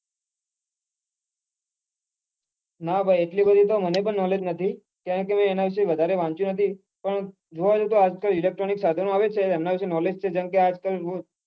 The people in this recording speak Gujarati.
નાં ભાઈ એટલી બધી knowledge નથી કારણ કે મેં એના વિશે વધારે વાંચ્યું નથી પણ જોવા જોઈએ તો આજ કાલ electronic સાધનો આવે છે એમના વિશે knowledge છે જેમ કે આજ કાલ.